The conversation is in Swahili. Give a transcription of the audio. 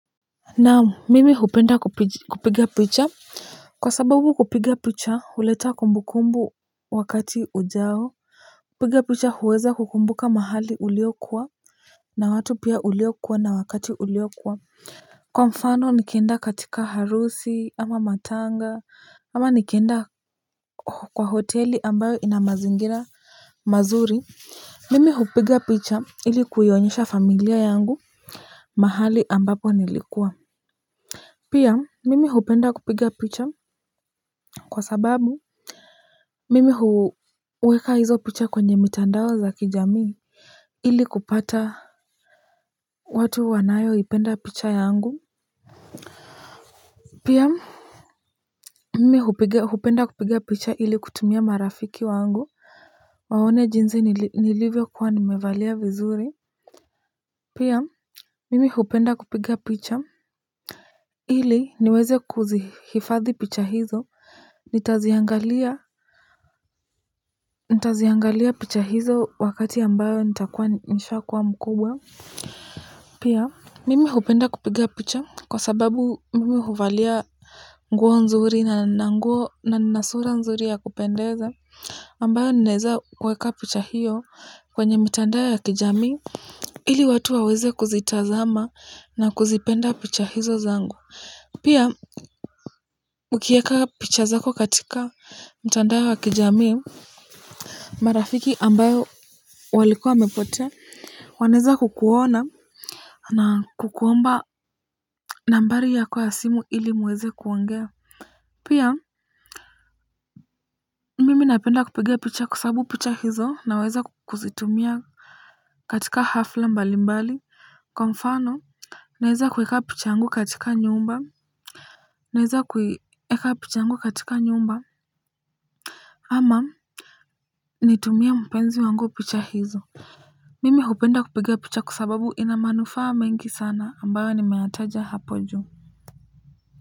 Naam mimi hupenda kupiga picha. Kwa sababu kupiga picha huleta kumbu kumbu wakati ujao kupiga picha huweza kukumbuka mahali uliokuwa na watu pia uliokuwa na wakati uliokuwa. Kwa mfano nikenda katika harusi ama matanga ama nikenda kwa hoteli ambayo ina mazingira mazuri. Mimi hupiga picha ili kuyonyesha familia yangu mahali ambapo nilikuwa pia mimi hupenda kupiga picha kwa sababu mimi huweka hizo picha kwenye mitandao za kijamii ili kupata watu wanayoipenda picha yangu pia mimi hupenda kupiga picha ili kutumia marafiki wangu waone jinsi nilivyo kuwa nimevalia vizuri pia mimi hupenda kupiga picha ili niweze kuzihifadhi picha hizo. Nitaziangalia picha hizo wakati ambayo nitakua nishakuwa mkubwa. Pia mimi hupenda kupiga picha kwa sababu mimi huvalia nguo nzuri na na nguo na nina sura nzuri ya kupendeza ambayo ninaeza kweka picha hiyo kwenye mitandao ya kijami ili watu waweze kuzitazama na kuzipenda picha hizo zangu. Pia ukieka picha zako katika mtandao ya kijamii. Marafiki ambayo walikuwa wamepotea. Wanaeza kukuona na kukuomba nambari ya kwa simu ili muweze kuongea. Pia mimi napenda kupiga picha kwasababu picha hizo naweza kuzitumia katika hafla mbali mbali. Kwa mfano naeza kuweka picha yangu katika nyumba naeza kuweka picha yangu katika nyumba ama nitumie mpenzi wangu picha hizo. Mimi hupenda kupiga picha kwa sababu ina manufaa mengi sana ambayo nimeyataja hapo juu.